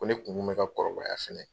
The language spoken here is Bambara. Ko ne kun kun bɛ ka kɔrɔbayaya fɛnɛ.